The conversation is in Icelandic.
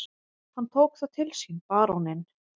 Hann tók það til sínBaróninn